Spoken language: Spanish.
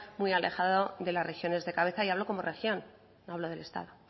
muy alejado de las regiones de cabeza y hablo como región no hablo del estado